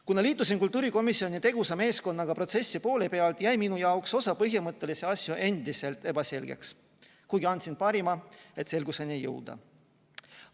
Kuna liitusin kultuurikomisjoni tegusa meeskonnaga poole protsessi pealt, jäi minu jaoks osa põhimõttelisi asju ebaselgeks, kuigi andsin oma parima, et selgusele jõuda.